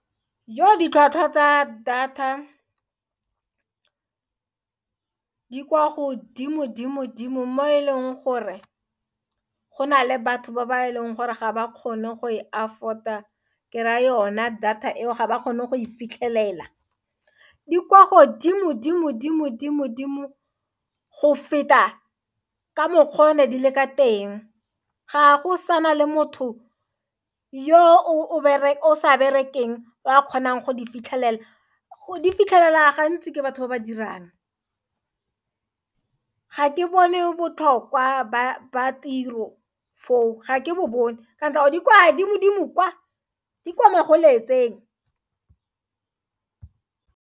Iyo ditlhwatlhwa tsa data di kwa godimo dimo-dimo mo e leng gore go na le batho ba ba e leng gore ga ba kgone go e afford-a ke raya yone data eo ga ba kgone go e fitlhelela di kwa godimo dimo-dimo-dimo-dimo go feta ka mokgwa o ne di le ka teng ga go sana le motho yo o sa berekeng o a kgonang go di fitlhelela go di fitlhelela gantsi ke batho ba ba dirang ga ke bone botlhokwa ba tiro foo ga ke bo bone kana di kwa dimo-dimo kwa di kwa magoletseng.